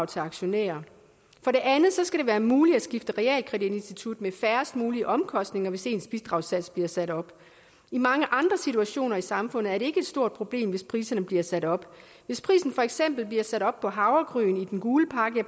til aktionærer for det andet skal det være muligt at skifte realkreditinstitut med færrest mulige omkostninger hvis ens bidragssats bliver sat op i mange andre situationer i samfundet er et stort problem hvis priserne bliver sat op hvis prisen for eksempel bliver sat op på havregryn i den gule pakke